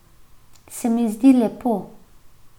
Se mi zdi lepo.